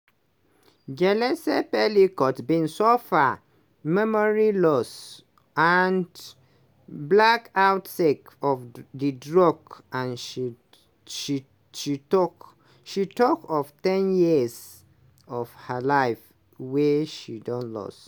gisèle pelicot bin suffer memory loss and blackouts sake of di drugs and she tok of ten years of her life wey she don lose.